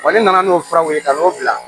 ne nana n'o furaw ye ka n'o bila